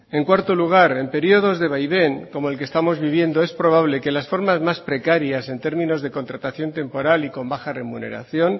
en cuarto lugar en periodos de vaivén como el que estamos viviendo es probable que las formas mas precarias en términos de contratación temporal y con baja remuneración